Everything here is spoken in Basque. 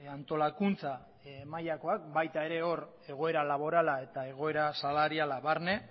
antolakuntza mailakoak baita ere hor egoera laborala eta egoera salariala barne